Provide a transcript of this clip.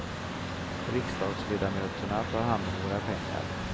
Riksdagsledamöterna tar hand om våra pengar.